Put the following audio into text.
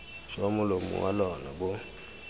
jwa molomo wa lona bo